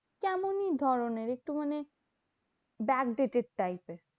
কেমন ধরণের? একটু মানে backdated type এর